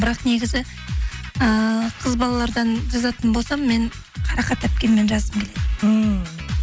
бірақ негізі ыыы қыз балалардан жазатын болсам мен қарақат әпкемен жазғым келеді ммм